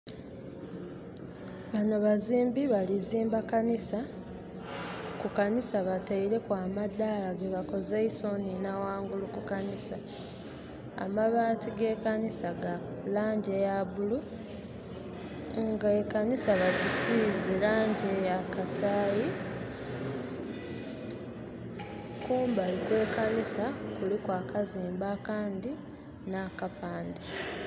Bano bazimbi balizimba kanisa. Ku kanisa bataireku amadala gebakozeisa onina wangulu ku kanisa. Amabaati ge kanisa ga langi eya bulu nga ekanisa bajisize elangi eya kasayi. Kumbali we kanisa kuliku akazimbe akandi nakapande